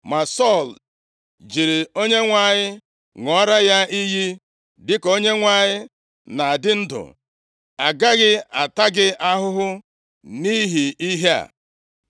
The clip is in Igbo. Ma Sọl jiri Onyenwe anyị ṅụọra ya iyi, “Dịka Onyenwe anyị na-adị ndụ, agaghị ata gị ahụhụ nʼihi ihe a.”